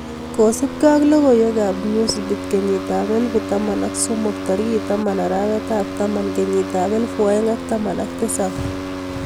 Kosubke ak logoiwek ab newsbeat kenyitab elbu taman ak somok tarikit taman arawet ab taman kenyit ab elfu aeng ak taman ak tisab.